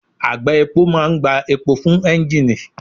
Àgbá epo máa ń gbá epo fún ẹ́ńgìnì